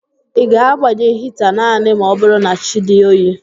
Ị ga-agbanye hita naanị ma ọ bụrụ na chi dị oyi